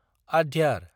आद्यार